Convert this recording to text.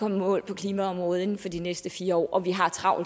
i mål på klimaområdet inden for de næste fire år og vi har travlt